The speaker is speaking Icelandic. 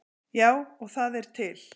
Já, og það er til.